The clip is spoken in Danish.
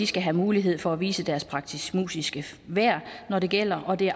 skal have mulighed for at vise deres praktisk musiske værd når det gælder og det